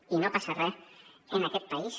i no passa re en aquest país